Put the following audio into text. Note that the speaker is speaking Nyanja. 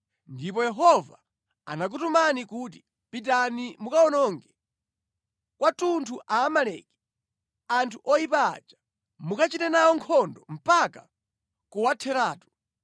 Ndipo Yehova anakutumani kuti, ‘Pitani mukawononge kwathunthu Aamaleki, anthu oyipa aja. Mukachite nawo nkhondo mpaka kuwatheratu.’